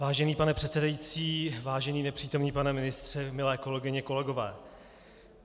Vážený pane předsedající, vážený nepřítomný pane ministře, milé kolegyně, kolegové.